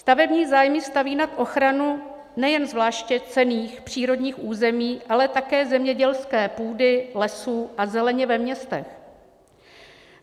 Stavební zájmy staví nad ochranu nejen zvláště cenných přírodních území, ale také zemědělské půdy, lesů a zeleně ve městech.